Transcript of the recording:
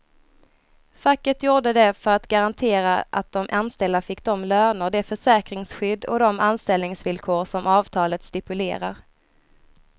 Facket gjorde det för att garantera att de anställda fick de löner, det försäkringsskydd och de anställningsvillkor som avtalet stipulerar.